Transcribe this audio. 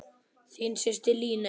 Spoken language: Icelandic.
Þín systir, Líney.